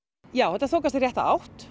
þetta þokast í rétta átt